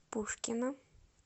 пушкино